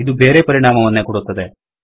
ಇದು ಬೇರೆ ಪರಿಣಾಮವನ್ನೇ ಕೊಡುತ್ತದೆ